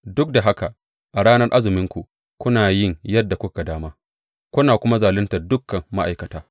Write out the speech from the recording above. Duk da haka a ranar azuminku, kuna yi yadda kuka ga dama kuna kuma zaluntar dukan ma’aikata.